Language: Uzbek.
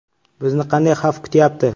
Bizni qanday xavf kutyapti?